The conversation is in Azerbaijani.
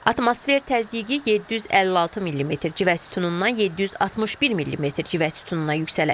Atmosfer təzyiqi 756 millimetr civə sütunundan 761 millimetr civə sütununa yüksələcək.